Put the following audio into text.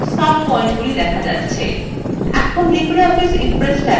এখন libreoffice impress ট্যাবএ click করুন